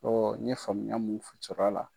Ɔ n ye faamuya mun cɛk'a la